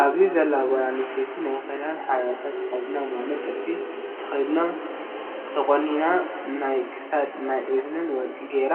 ኣብዚ ዘላ ጓል ኣነስተይቲ ናይ ክዳን ሓበሻ ተከዲና ማለት ጥልፊ ተከዲናን ተቆኒናን ናይ ክሳድን ናይ እዝንን ወርቂ ገይራ